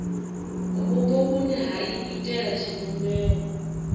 vhupo vhune ha iitela tshivhumbeo